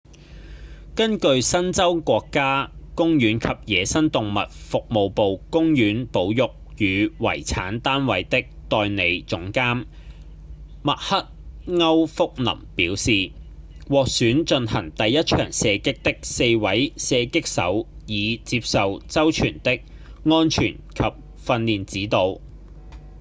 根據新州國家公園及野生動物服務部公園保育與遺產單位的代理總監密克‧歐福林表示獲選進行第一場射擊的4位射擊手已接受周全的安全及訓練指導